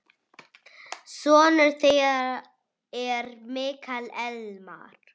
Sonur þeirra er Mikael Elmar.